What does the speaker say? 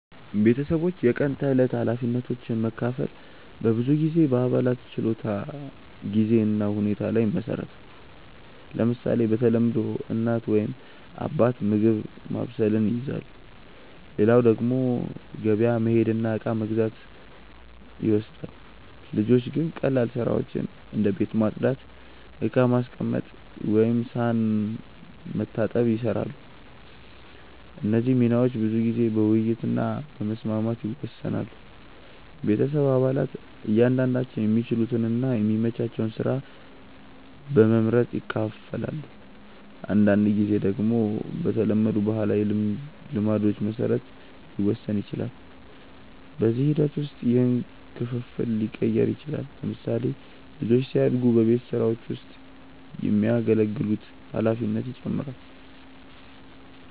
ቤተሰቦች የቀን ተዕለት ኃላፊነቶችን መካፈል በብዙ ጊዜ በአባላት ችሎታ፣ ጊዜ እና ሁኔታ ላይ ይመሰረታል። ለምሳሌ፣ በተለምዶ እናት ወይም አባት ምግብ ማብሰልን ይይዛሉ፣ ሌላው ደግሞ ገበያ መሄድ እና እቃ መግዛት ይወስዳል። ልጆች ግን ቀላል ስራዎችን እንደ ቤት ማጽዳት፣ ዕቃ ማስቀመጥ ወይም ሳህን መታጠብ ይሰራሉ። እነዚህ ሚናዎች ብዙ ጊዜ በውይይት እና በመስማማት ይወሰናሉ። ቤተሰብ አባላት እያንዳንዳቸው የሚችሉትን እና የሚመቻቸውን ስራ በመመርጥ ይካፈላሉ። አንዳንድ ጊዜ ደግሞ በተለመዱ ባህላዊ ልማዶች መሰረት ሊወሰን ይችላል። በጊዜ ሂደት ውስጥ ይህ ክፍፍል ሊቀየር ይችላል። ለምሳሌ፣ ልጆች ሲያድጉ በቤት ስራዎች ውስጥ የሚያገለግሉት ኃላፊነት ይጨምራል።